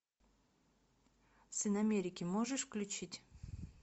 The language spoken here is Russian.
сын америки можешь включить